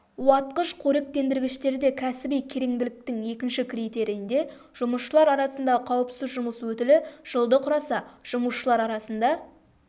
уатқыш қоректендіргіштерде кәсіби кереңділіктің екінші критерийінде жұмысшылар арасындағы қауіпсіз жұмыс өтілі жылды құраса жұмысшылар арасында